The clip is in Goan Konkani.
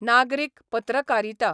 नागरीक पत्रकारिता.